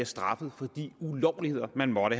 straffes for de ulovligheder man måtte